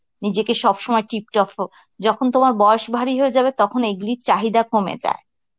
নিজেকে সবসময় tiptop ও যখন তোমার বয়স ভারি হয়ে যাবে তখন এগুলির চাহিদা কমে যায়.